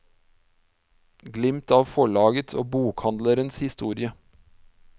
Glimt av forlagets og bokhandelens historie.